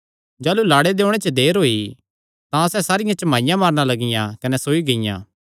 जाह़लू लाड़े दे ओणे च देर होई तां सैह़ सारियां झमाईयां मारणा लगियां कने सोई गियां